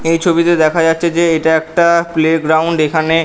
এই ছবি তে দেখা যাচ্ছে যে এটা একটা প্লে গ্রাউন্ড এখানে--